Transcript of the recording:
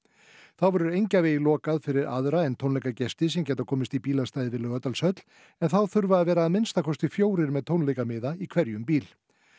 þá verður Engjavegi lokað fyrir öðrum en tónleikagestum sem geta komist í bílastæði við Laugardalshöll en þá þurfa að vera að minnsta kosti fjórir með í hverjum bíl